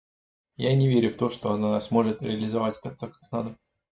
я не верю в то что она сможет реализовать так как надо